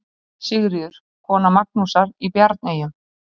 Sigríður, kona Magnúsar í Bjarneyjum.